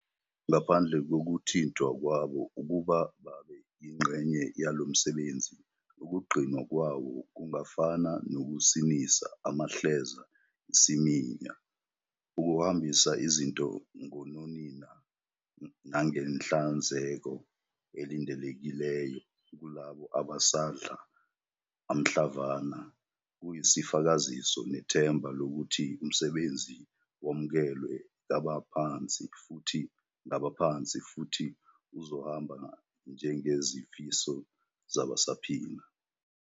Ngaphandle kokuthintwa kwabo ukuba babe yingxenye yalo msebenzi, ukugcinwa kwawo kungafana nokusinisa amahleza isiminya. Ukuhambisa izinto ngononina nangenhlanzeko elindelekileyo kulabo abasadla anhlamvana kuyisifakaziso nethemba lokuthi umsebenzi wamukelwe ngabaphansi futhi uzohamba njengezifiso zabasaphila.